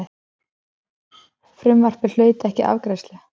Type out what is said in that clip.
Frumvarpið hlaut ekki afgreiðslu.